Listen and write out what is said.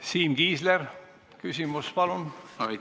Siim Kiisler, küsimus, palun!